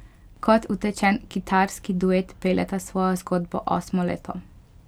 Kot utečen kitarski duet peljeta svojo zgodbo osmo leto.